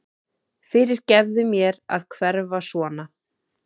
Fyrirgefðu mér að hverfa svona.